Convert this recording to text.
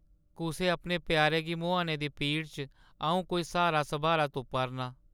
कुसै अपने प्यारे गी मुहाने दी पीड़ै च अ‘ऊं कोई स्हारा-सब्हारा तुप्पा‘रनां ।